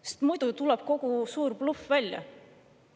Sest muidu oleks tulnud kogu suur bluff välja.